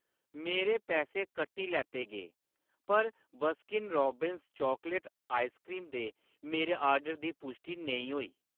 मेरे पैसे कट्टी लैते गे, पर बसकीन रोब्बिंस चॉकलेट आइसक्रीम दे मेरे आर्डर दी पुश्टि नेईं होई